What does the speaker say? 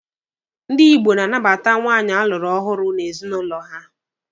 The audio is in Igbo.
Ndi Igbo na-anabata nwaanyị a lụrụ ọhụrụ n'ezinụlọ ha.